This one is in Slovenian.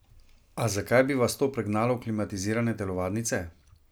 A zakaj bi vas to pregnalo v klimatizirane telovadnice?